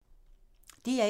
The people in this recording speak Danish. DR1